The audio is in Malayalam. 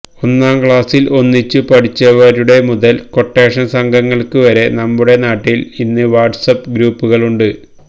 ഒന്നാം ക്ലാസിൽ ഒന്നിച്ചു പഠിച്ചവരുടെ മുതൽ ക്വട്ടേഷൻ സംഘങ്ങൾക്ക് വരെ നമ്മുടെ നാട്ടിൽ ഇന്ന് വാട്സ് ആപ്പ് ഗ്രൂപ്പുകളുണ്ട്